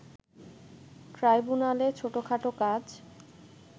ট্রাইব্যুনালে ছোটখাটো কাজ